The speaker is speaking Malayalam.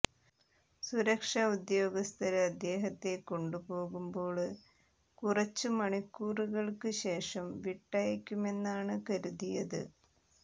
സുരക്ഷ ഉദ്യോഗസ്ഥര് അദ്ദേഹത്തെ കൊണ്ടുപോകുമ്പോള് കുറച്ചു മണിക്കൂറുകള്ക്ക് ശേഷം വിട്ടയയ്ക്കുമെന്നാണ് കരുതിയത്